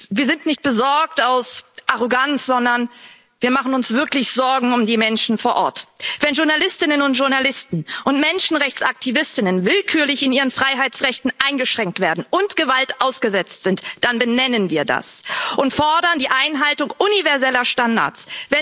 Wir sind nicht besorgt aus Arroganz, sondern wir machen uns wirklich Sorgen um die Menschen vor Ort. Wenn Journalistinnen und Journalisten und Menschenrechtsaktivistinnen und aktivisten willkürlich in ihren Freiheitsrechten eingeschränkt werden und Gewalt ausgesetzt sind, dann benennen wir das und fordern die Einhaltung universeller Standards.